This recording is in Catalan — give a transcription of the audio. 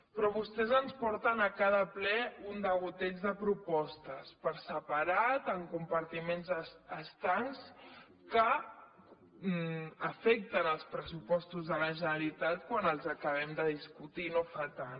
però vostès ens porten a cada ple un degoteig de propostes per separat en compartiments estancs que afecten els pressupostos de la generalitat quan els acabem de discutir no fa tant